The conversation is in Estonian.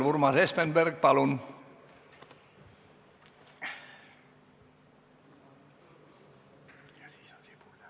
Urmas Espenberg, palun!